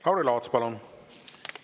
Lauri Laats, palun!